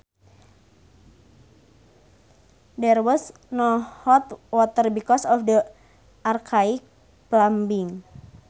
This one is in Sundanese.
There was no hot water because of the archaic plumbing